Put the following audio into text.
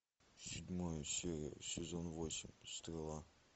седьмая серия сезон восемь стрела